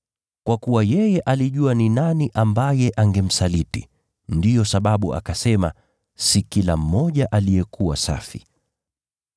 Kwa kuwa yeye alijua ni nani ambaye angemsaliti, ndiyo sababu akasema si kila mmoja aliyekuwa safi.